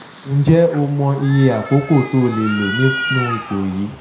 ǹjẹ́ o mọ iye àkókò tó lè lò nínú ipò yìí?